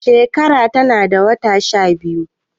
shekara tana da wata shabiyu